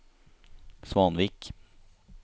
Svanvik